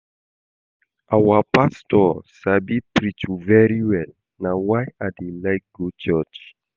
Our pastor sabi preach very well na why I dey like go church